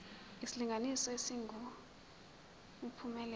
isilinganiso esingu uphumelele